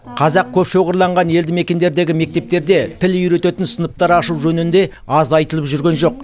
қазақ көп шоғырланған елді мекендердегі мектептерде тіл үйрететін сыныптар ашу жөнінде аз айтылып жүрген жоқ